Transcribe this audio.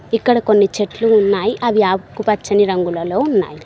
ఇక్కడ కొన్ని చెట్లు ఉన్నాయి అవి ఆకుపచ్చని రంగులలో ఉన్నాయి.